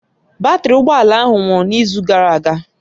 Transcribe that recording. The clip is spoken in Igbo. Batrị ụgbọ ala ahụ nwụrụ n'izu gara aga